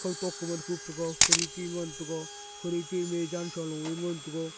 kawtok kuman khup taiga khirki ngan taiga khirki ma jansaloe ngan taiga.